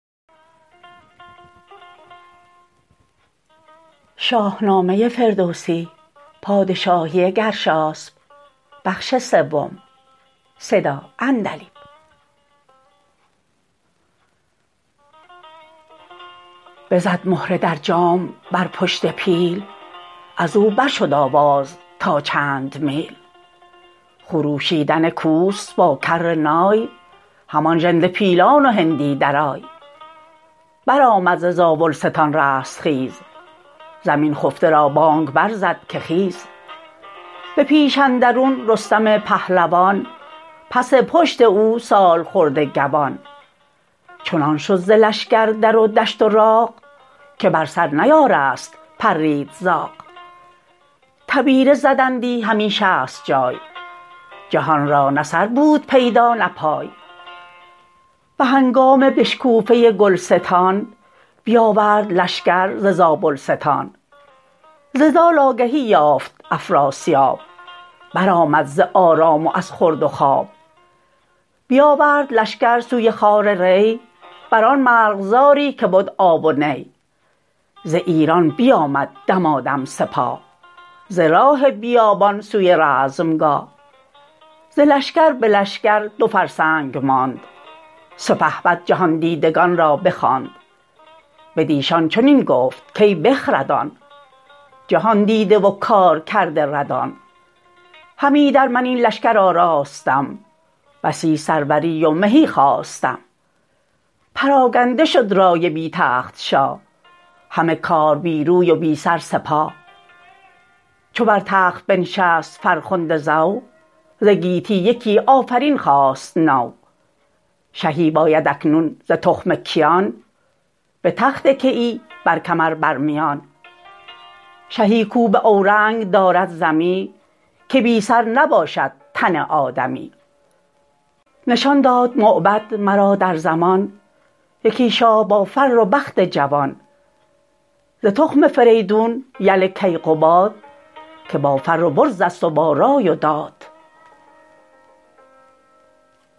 بزد مهره در جام بر پشت پیل ازو برشد آواز تا چند میل خروشیدن کوس با کرنای همان ژنده پیلان و هندی درای برآمد ز زاولستان رستخیز زمین خفته را بانگ برزد که خیز به پیش اندرون رستم پهلوان پس پشت او سالخورده گوان چنان شد ز لشکر در و دشت و راغ که بر سر نیارست پرید زاغ تبیره زدندی همی شست جای جهان را نه سر بود پیدا نه پای به هنگام بشکوفه گلستان بیاورد لشکر ز زابلستان ز زال آگهی یافت افراسیاب برآمد ز آرام و از خورد و خواب بیاورد لشکر سوی خوار ری بران مرغزاری که بد آب و نی ز ایران بیامد دمادم سپاه ز راه بیابان سوی رزمگاه ز لشکر به لشکر دو فرسنگ ماند سپهبد جهاندیدگان را بخواند بدیشان چنین گفت کای بخردان جهاندیده و کارکرده ردان هم ایدر من این لشکر آراستم بسی سروری و مهی خواستم پراگنده شد رای بی تخت شاه همه کار بی روی و بی سر سپاه چو بر تخت بنشست فرخنده زو ز گیتی یکی آفرین خاست نو شهی باید اکنون ز تخم کیان به تخت کیی بر کمر بر میان شهی کاو باورنگ دارد ز می که بی سر نباشد تن آدمی نشان داد موبد مرا در زمان یکی شاه با فر و بخت جوان ز تخم فریدون یل کیقباد که با فر و برزست و با رای و داد